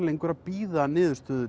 lengur að bíða niðurstöðu